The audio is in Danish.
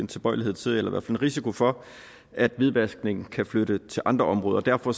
tilbøjelighed til eller i hvert fald en risiko for at hvidvaskningen kan flytte til andre områder derfor